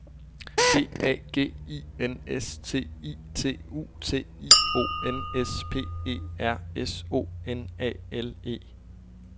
D A G I N S T I T U T I O N S P E R S O N A L E